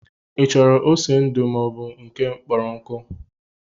Ị chọrọ ose ndu maọbụ nke kpọrọ nkụ